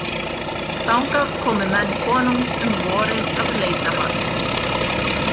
Þangað komu menn konungs um vorið að leita hans.